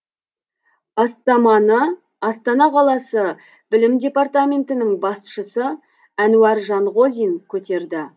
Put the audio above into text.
бастаманы астана қаласы білім департаментінің басшысы әнуар жанғозин көтерді